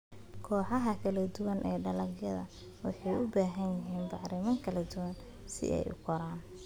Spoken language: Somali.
Kooxaha kala duwan ee dalagyada waxay u baahan yihiin bacrimin kala duwan si ay u koraan.